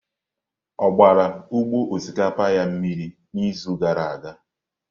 Ọ gbara ugbo osikapa ya mmiri n'izu gara aga?